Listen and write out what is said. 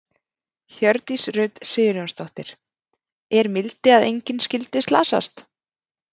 Hjördís Rut Sigurjónsdóttir: Er mildi að engin skyldi slasast?